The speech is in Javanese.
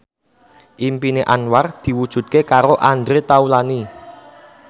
impine Anwar diwujudke karo Andre Taulany